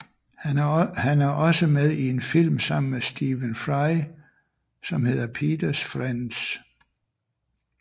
Han er også med i en film sammen med Stephen Fry som hedder Peters Friends